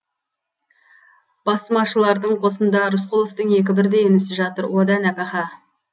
басмашылардың қосында рысқұловтың екі бірдей інісі жатыр о да нәпаха